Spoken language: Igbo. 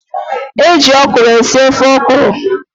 E ji ọkwụrụ esi ofe ọkwụrụ.